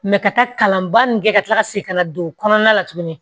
ka taa kalanba ninnu kɛ ka tila ka segin ka na don kɔnɔna la tugunni